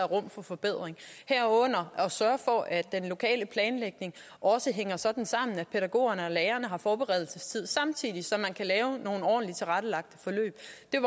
rum for forbedring herunder at sørge for at den lokale planlægning også hænger sådan sammen at pædagogerne og lærerne har forberedelsestid samtidig så de kan lave nogle ordentligt tilrettelagte forløb